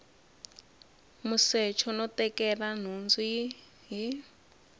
musecho no tekela nhundzu hi